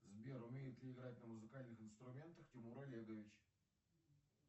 сбер умеет ли играть на музыкальных инструментах тимур олегович